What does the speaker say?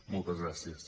moltes gràcies